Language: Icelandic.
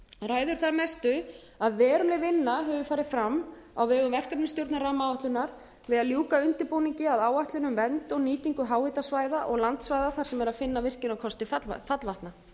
ræður þar mestu að veruleg vinna hefur farið fram á vegum verkefnisstjórnar rammaáætlunar við að ljúka undirbúningi að áætlun um vernd og nýtingu háhitasvæða og landsvæða þar sem er að finna virkjunarkosti fallvatna